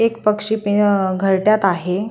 एक पक्षी पी अ घरट्यात आहे.